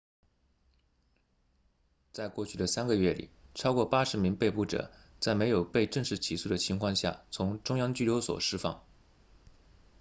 在过去的3个月里超过80名被捕者在没有被正式起诉的情况下从中央拘留所释放